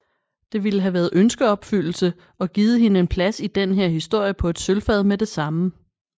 Det ville have været ønskeopfyldelse og givet hende en plads i den her historie på et sølvfad med det samme